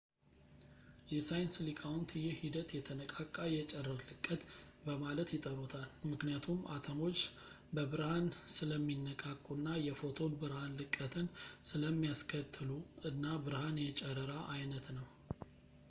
የሳይንስ ሊቃውንት ይህ ሂደት የተነቃቃ የጨረር ልቀት በማለት ይጠሩታል ምክንያቱም አተሞች በብርሃን ስለሚነቃቁ እና የፎቶን ብርሃን ልቀትን ስለሚያስከትሉ እና ብርሃን የጨረራ ዓይነት ነው